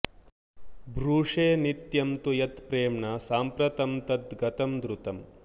ब्रूषे नित्यं तु यत् प्रेम्णा साम्प्रतं तद् गतं द्रुतम्